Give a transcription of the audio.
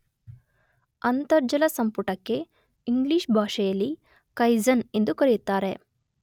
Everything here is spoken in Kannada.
ಅಂತರ್ಜಲಸಂಪುಟಕ್ಕೆ ಇಂಗ್ಲಿಷ್ ಭಾಷೆಯಲ್ಲಿ ಕೈಸನ್ ಎಂದು ಕರೆಯುತ್ತಾರೆ.